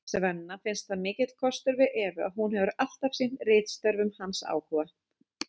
Svenna finnst það mikill kostur við Evu að hún hefur alltaf sýnt ritstörfum hans áhuga.